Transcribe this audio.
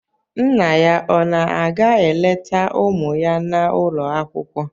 Nna ya ọ na-aga eleta ụmụ ya n'ụlọ akwụkwọ?